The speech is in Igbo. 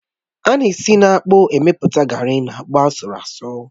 Á na esi na-akpụ emepụta garri and akpụ asurụ asu